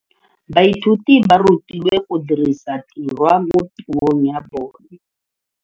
Baithuti ba rutilwe go dirisa tirwa mo puong ya bone.